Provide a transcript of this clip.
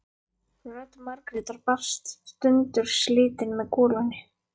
Rödd Margrétar barst sundurslitin með golunni.